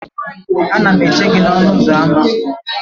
Ana m eche gi n'ọnụ ụzọ ámá